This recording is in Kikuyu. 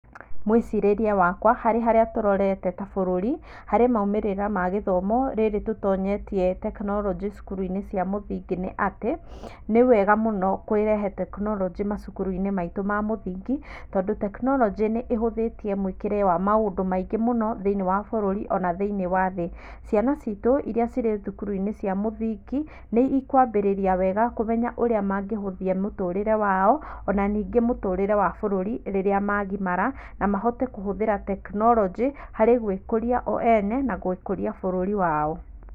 Mwĩcirĩria wakwa harĩ harĩa tũrorete ta bũrũri, harĩ maũmĩrĩra ma gĩthomo rĩrĩ tũtonyetie tekinoronjĩ cukuruinĩ cia mũthingi nĩ atĩ nĩ wega mũno kũrehe mũno tekinorojĩ macukuruinĩ ma mũthingi tondũ tekinorojĩ nĩ ĩhuthĩtie mwĩkire wa maũndũ maingĩ mũno thĩiniĩ wa bũrũri ona thĩiniĩ wa thĩ. Ciana citũ ĩria cirĩ thukuruinĩ cia mũthingi nĩikwambĩrĩria wega kũmenya ũrĩa mangĩhuthia mũtũrĩre wao ona ningĩ mũtũrĩre wa bũrũri rĩrĩa magimara na mahote kũhuthĩra tekinoronjĩ harĩ gwĩkũria oene na gũkũria bũrũri wao.